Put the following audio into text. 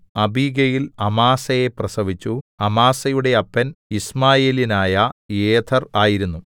Abigail അമാസയെ പ്രസവിച്ചു അമാസയുടെ അപ്പൻ യിസ്മായേല്യനായ യേഥെർ ആയിരുന്നു